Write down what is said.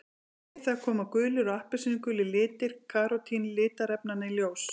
Við það koma gulir og appelsínugulir litir karótín litarefnanna í ljós.